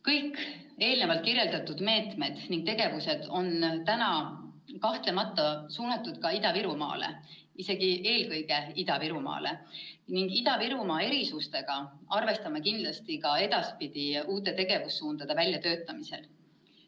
" Kõik eelnevalt kirjeldatud meetmed ja tegevused on kahtlemata suunatud ka Ida-Virumaale, isegi eelkõige Ida-Virumaale, ning Ida-Virumaa erisustega arvestame kindlasti ka edaspidi uute tegevussuundade väljatöötamisel.